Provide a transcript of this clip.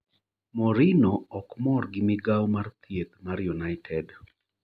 Mourinho ok mor gi migawo mar thieth mar United